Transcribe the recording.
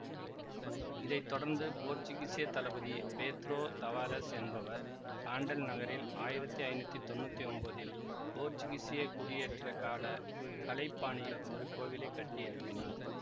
இதை தொடர்ந்து போர்த்துகீசிய தளபதி பேத்ரோ தவாரெஸ் என்பவர் பாண்டல் நகரில் ஆயிரத்தி ஐநூத்தி தொன்னூத்தி ஒம்போதில் போர்த்துகீசிய குடியேற்றக் கால கலைப்பாணியில் ஒரு கோவிலை கட்டி எழுப்பினார்